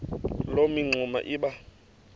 loo mingxuma iba